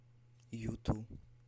юту